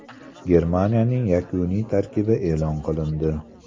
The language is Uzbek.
Germaniyaning yakuniy tarkibi e’lon qilindi.